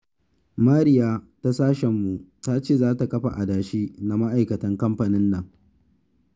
Mariya ta sashenmu ta ce za ta kafa a adashi na ma'aikatan kamfanin nan